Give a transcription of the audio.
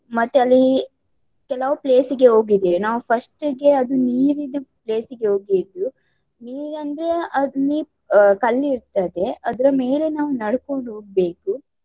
ಮತ್ತೆ ಅಲ್ಲಿ ಕೆಲವು place ಗೆ ಹೋಗಿದ್ದೇವೆ ನಾವು first ಗೆ ಅದು ನೀರಿದ್ದು place ಗೆ ಹೋಗಿದ್ವು. ನೀರಂದ್ರೆ ಅದ್ ನೀ~ ಕಲ್ಲಿರ್ತದೆ ಅದ್ರ ಮೇಲೆ ನಾವು ನಡ್ಕೊಂಡು ಹೋಗ್ಬೇಕು.